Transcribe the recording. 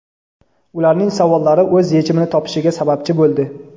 ularning savollari o‘z yechimini topishiga sababchi bo‘ldi.